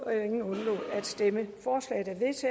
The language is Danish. stemte nul for